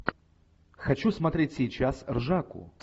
хочу смотреть сейчас ржаку